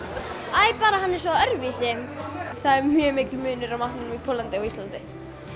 æ bara hann er svo öðruvísi það er mjög mikill munur á matnum í Póllandi og á Íslandi